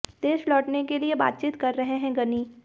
देश लौटने के लिए बातचीत कर रहे हैं गनी